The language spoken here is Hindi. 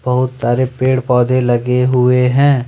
बहुत सारे पेड़ पौधे लगे हुए हैं।